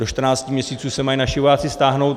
Do 14 měsíců se mají naši vojáci stáhnout.